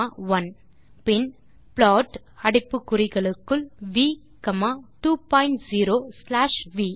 001723 000732 பின் ப்ளாட் அடைப்பு குறிகளுக்குள் v comma 2 point 0 slash we